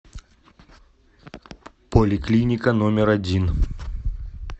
поликлиника номер один